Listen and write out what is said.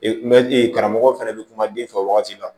n bɛ karamɔgɔ fana bɛ kuma den fɛ wagati la